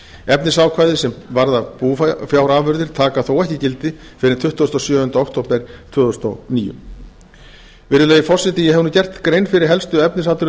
efnisákvæði sem varða búfjárafurðir taka þó ekki gildi fyrr en tuttugasta og sjöunda október árið tvö þúsund og níu virðulegi forseti ég hef nú gert grein fyrir helstu efnisatriðum